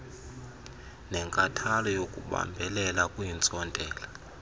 nenkathalo yokubambelela kwiintsontela